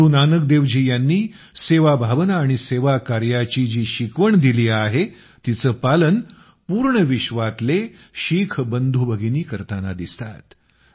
गुरू नानकदेवजी यांनी सेवाभावना आणि सेवाकार्याची जी शिकवण दिली आहे तिचं पालन पूर्ण विश्वातली शीख बंधुभगिनी करताना दिसतात